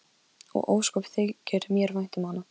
Og ósköp þykir mér vænt um hana.